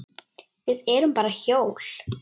Við erum bara hjól.